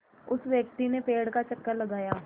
उस व्यक्ति ने पेड़ का चक्कर लगाया